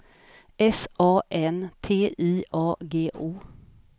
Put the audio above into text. S A N T I A G O